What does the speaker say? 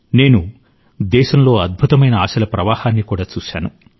నేను దేశంలో అద్భుతమైన ఆశల ప్రవాహాన్ని కూడా చూశాను